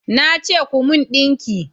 Na ce ku mun dinki!